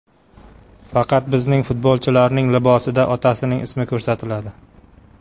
Faqat bizning futbolchilarning libosida otasining ismi ko‘rsatiladi” .